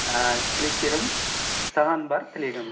ііі тілектерім саған бар тілегім